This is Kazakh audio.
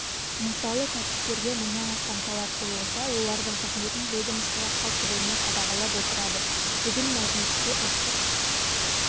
мысалы кәсіпкерге мыңнан астам талап қойылса олардың қызметін ведомство қалт жібермей қадағалап отырады бүгін мәжілісте ұлттық